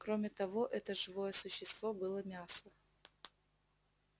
кроме того это живое существо было мясо